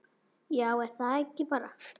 Já, er það ekki bara?